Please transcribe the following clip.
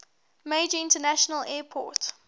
major international airport